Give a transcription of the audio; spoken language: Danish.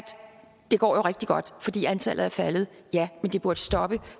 det jo går rigtig godt fordi antallet er faldet ja men det burde stoppe